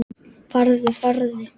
Farðu, farðu.